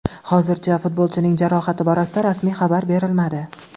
Hozircha futbolchining jarohati borasida rasmiy xabar berilmadi.